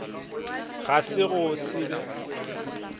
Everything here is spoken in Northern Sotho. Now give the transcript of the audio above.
ga se go se be